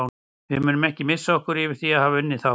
Við munum ekki missa okkur yfir því að hafa unnið þá.